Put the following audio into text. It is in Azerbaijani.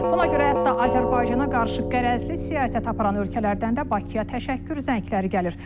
Buna görə hətta Azərbaycana qarşı qərəzli siyasət aparan ölkələrdən də Bakıya təşəkkür zəngləri gəlir.